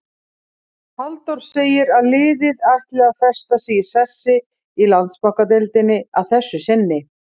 Halldór segir að liðið ætli að festa sig í sessi í Landsbankadeildinni að þessu sinni.